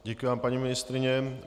Děkuji vám, paní ministryně.